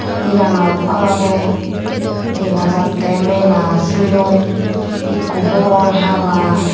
Iyanot olode dega jatte mela selum ikko bogwal haba.